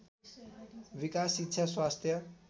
विकास शिक्षा स्वास्थ्य